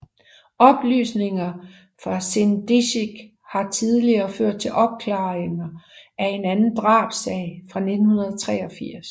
Oplysninger fra Sindicic har tidligere ført til opklaring af en anden drabssag fra 1983